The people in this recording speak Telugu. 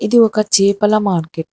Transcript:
ఇది ఒక చేపల మార్కెట్ .